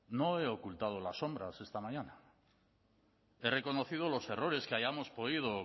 no he ocultado las sombras esta mañana he reconocido los errores que hayamos podido